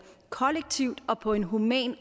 kollektivt og på en human